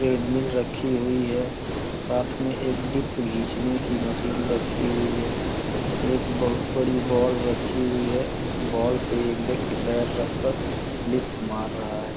Treadmill रखी हुई है। साथ में एक डीप्स घिचने की मशीन रखी हुई है। एक बहोत बड़ी बाल रखी हुई है। उस बाल पे एक व्यक्ति पैर रख कर डीप्स मार रहा है।